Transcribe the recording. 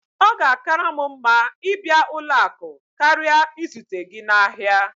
Ọ ga-akara m mma ịbịa ụlọ akụ karịa izute gị n'ahịa